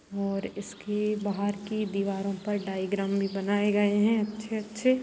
और इसकी बाहर की दीवारों पर डायग्राम भी बनाए गए है अच्छे-अच्छे।